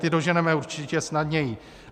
Ty doženeme určitě snadněji.